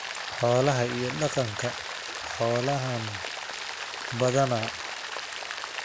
Xoolaha iyo Dhaqanka Xoolahan badanaa.